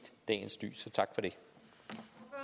at